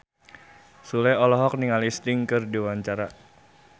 Sule olohok ningali Sting keur diwawancara